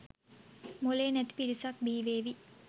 මොලේ නැති පිරිසක් බිහිවේවි.